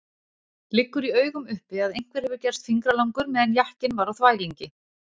Liggur í augum uppi að einhver hefur gerst fingralangur meðan jakkinn var á þvælingi!